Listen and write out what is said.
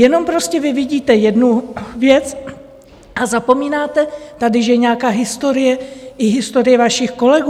Jenom prostě vy vidíte jednu věc a zapomínáte tady, že je nějaká historie, i historie vašich kolegů.